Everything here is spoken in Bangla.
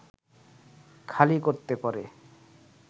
খালি করতে পারে